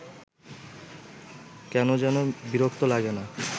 কেন যেন বিরক্ত লাগে না